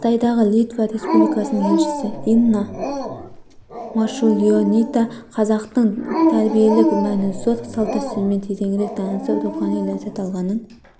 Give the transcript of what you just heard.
қытайдағы литва республикасының елшісі инна марчулионитэ қазақтың тәрбиелік мәні зор салт-дәстүрмен тереңірек танысып рухани ләззат алғанын